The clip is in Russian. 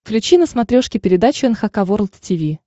включи на смотрешке передачу эн эйч кей волд ти ви